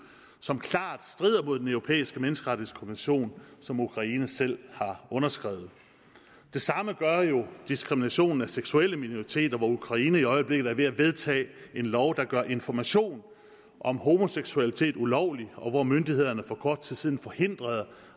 som klart strider mod den europæiske menneskerettighedskonvention som ukraine selv har underskrevet det samme gør jo diskriminationen af seksuelle minoriteter hvor ukraine i øjeblikket er ved at vedtage en lov der gør information om homoseksualitet ulovlig og hvor myndighederne for kort tid siden forhindrede